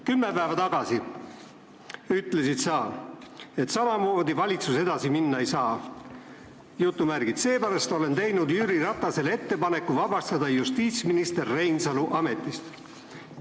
Kümme päeva tagasi ütlesid sa, et samamoodi valitsus edasi minna ei saa: "Seepärast olen teinud Jüri Ratasele ettepaneku vabastada justiitsminister Reinsalu ametist.